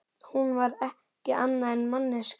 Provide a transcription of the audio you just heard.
Hún var ekki annað en manneskja.